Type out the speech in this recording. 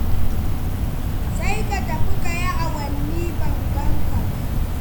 Sai ka tafi ka yi awanni ban gan ka ba.